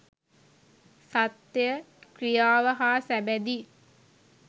සත්‍ය ක්‍රියාව හා සැබඳි